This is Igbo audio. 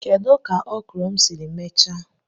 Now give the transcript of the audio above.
Kedu ka okro m siri mechaa?